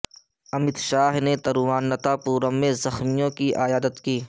امت شاہ نے تروواننتا پورم میں زخمیوں کی عیادت کی